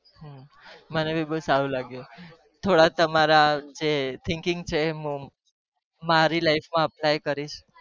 મને બી બવ સારું લાગ્યું